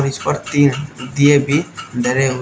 इस पर तीन दिए भी धरे हुए--